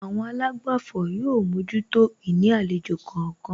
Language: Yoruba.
Àwọn àlágbàfọ̀ yóò mójútó ìní àlejò kọ̀ọ̀kan